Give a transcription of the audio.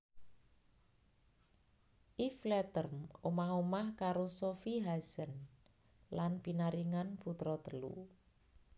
Yves Leterme omah omah karo Sofie Haesen lan pinaringan putra telu